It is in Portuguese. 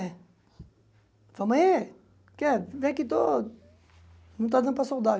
É. Falei, ô mãe, o que é vem aqui estou não está dando para soldar.